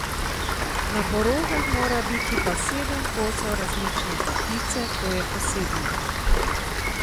Na porokah mora biti pa sedem kosov različne potice, to je posebnost.